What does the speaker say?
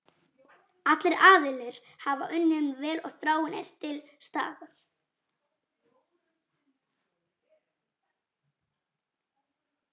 Allir aðilar hafa unnið vel og þráin er til staðar.